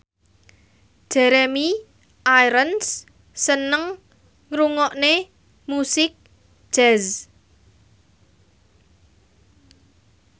Jeremy Irons seneng ngrungokne musik jazz